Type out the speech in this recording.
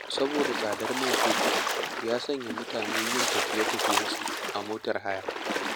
Saboda da tsadar man fetur ya sanya mutane yin tafiye-tafiyensu a motar haya.